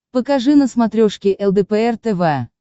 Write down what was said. покажи на смотрешке лдпр тв